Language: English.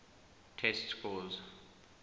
test scores